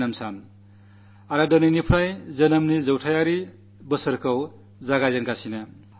ഇന്നുമുതൽ അദ്ദേഹത്തിന്റെ ജന്മശതാബ്ദി വർഷം ആരംഭിക്കുകയാണ്